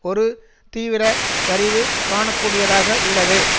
ஒரு தீவிர சரிவு காண கூடியதாக உள்ளது